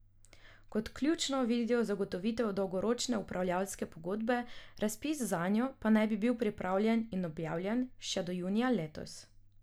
Kot ključno vidijo zagotovitev dolgoročne upravljavske pogodbe, razpis zanjo pa naj bi bil pripravljen in objavljen še do junija letos.